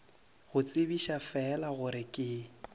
go tsebiša fela gore ke